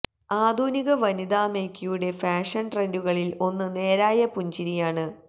ആധുനിക വനിതാ മേക്കിയുടെ ഫാഷൻ ട്രെൻഡുകളിൽ ഒന്ന് നേരായ പുഞ്ചിരിയാണ്